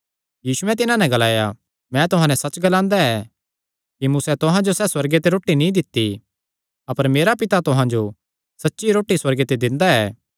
यीशुयैं तिन्हां नैं ग्लाया मैं तुहां नैं सच्चसच्च ग्लांदा ऐ कि मूसैं तुहां जो सैह़ रोटी सुअर्गे ते नीं दित्ती अपर मेरा पिता तुहां जो सच्ची रोटी सुअर्गे ते दिंदा ऐ